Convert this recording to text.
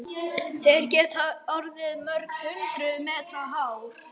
Þeir geta orðið mörg hundruð metra háir.